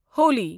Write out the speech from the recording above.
Holi